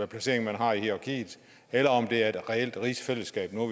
placering man har i hierarkiet eller om det er et reelt rigsfællesskab nu